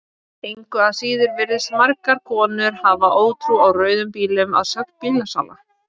Engu að síður virðast margar konur hafa ótrú á rauðum bílum að sögn bílasala.